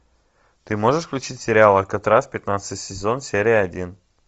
ты можешь включить сериал алькатрас пятнадцатый сезон серия один